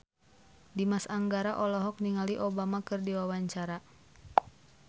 Dimas Anggara olohok ningali Obama keur diwawancara